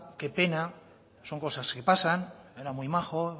qué pena son cosas que pasan era muy majo